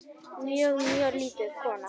Mjög, mjög lítil kona.